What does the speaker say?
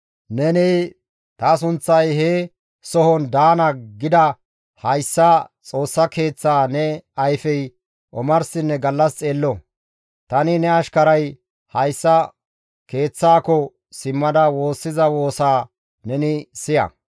Neni, ‹Ta sunththay he sohon daana› gida hayssa Xoossaa keeththaa ne ayfey omarsinne gallas xeello; tani ne ashkaray hayssa keeththaako simmada woossiza woosaa neni siya.